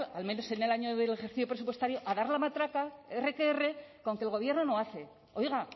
a dar al menos en el año del ejercicio presupuestario a dar la matraca erre que erre con que el gobierno no hace oiga